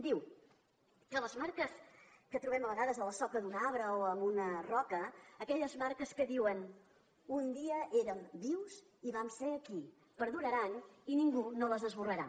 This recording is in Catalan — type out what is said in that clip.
diu que les marques que trobem a vegades a la soca d’un arbre o en una roca aquelles marques que diuen un dia érem vius i vam ser aquí perduraran i ningú no les esborrarà